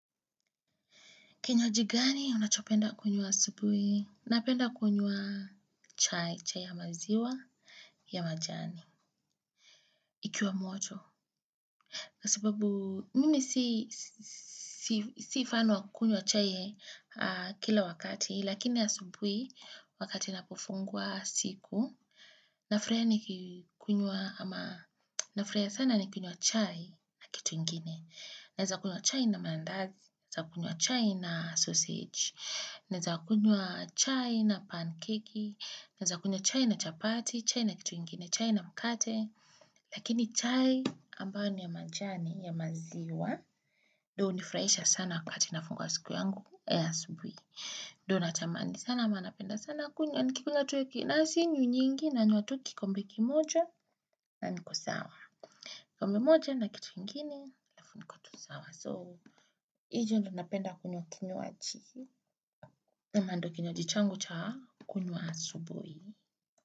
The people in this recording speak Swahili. Kinywaji gani unachopenda kunywa asubuhi? Napenda kunywa chai, chai ya maziwa, ya majani, ikiwa moto. Kwa sababu, mimi si fan wa kunywa chai kila wakati, lakini asubuhi, wakati na kufungua siku, nafurahia sana nikunywa chai na kitu nyingine. Naweza kunywa chai na maandazi, nawza kunywa chai na sausage, naweza kunywa chai na pancake, naweza kunywa chai na chapati, chai na kitu ingine, chai na mkate. Lakini chai ambao ni ya majani, ya maziwa, ndo hnifurahisha sana wakati nafungua siku yangu asubuhi. Ndo natamani sana, ama napenda sana, kunywa, nikikuywa tu hivi na sinywi nyingi, nanywa tu kikombe kimoja, na niko sawa. Kikombe kimoja na kitu ingine, alafh niko tu sawa. So hiyo ndo napenda kunywa kinywaji. Amando kinywaji changu cha kunywa asubuhi.